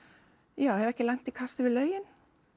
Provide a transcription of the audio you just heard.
já hef ekki lent í kasti við lögin